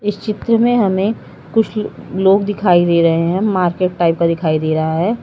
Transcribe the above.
इस चित्र में हमें कुछ लोग दिखाई दे रहे है मार्केट टाइप का दिखाई दे रहा है।